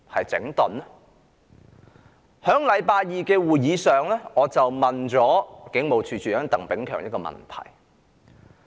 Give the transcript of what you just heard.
在星期二的會議上，我向警務處處長鄧炳強提出一個問題。